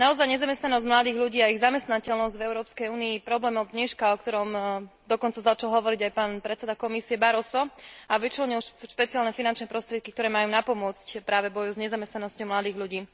Nezamestnanosť mladých ľudí a ich zamestnateľnosť v Európskej únii je skutočne problémom dneška, o ktorom dokonca začal hovoriť aj pán predseda Komisie Barroso a vyčlenil špeciálne finančné prostriedky, ktoré majú napomôcť práve v boji s nezamestnanosťou mladých ľudí.